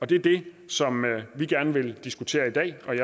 det er det som vi gerne vil diskutere i dag